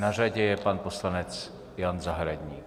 Na řadě je pan poslanec Jan Zahradník.